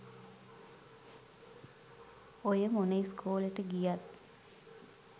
ඔය මොන ඉස්කෝලෙට ගියත්